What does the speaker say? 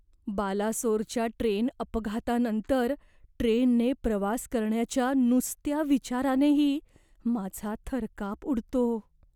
बालासोरच्या train अपघातानंतर ट्रेनने प्रवास करण्याच्या नुसत्या विचारानेही माझा थरकाप उडतो.